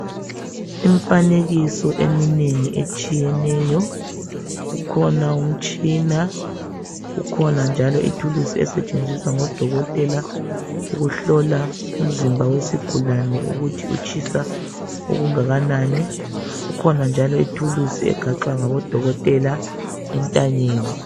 Imfanekiso eminengi etshiyeneyo, kukhona umutshina ,kukhona njalo ithulusi esetshenziswa ngodokotela ukuhlola umzimba wesigulane ukuthi utshisa okungakanani. Kukhona njalo ithulusi egaxwa ngabodokotela entanyeni.